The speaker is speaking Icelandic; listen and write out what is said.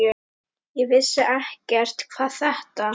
Ég vissi ekkert hvað þetta